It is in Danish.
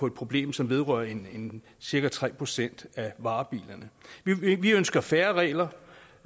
et problem som vedrører cirka tre procent af varebilerne vi ønsker færre regler